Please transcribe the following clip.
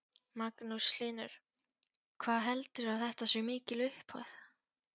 Magnús Hlynur: Hvað heldurðu að þetta sé mikil upphæð?